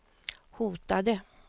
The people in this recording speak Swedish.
hotade